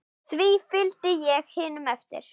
Því fylgdi ég hinum eftir.